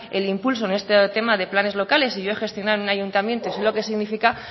el impulso en este tema de planes locales y yo he gestionado en un ayuntamiento y sé lo que significa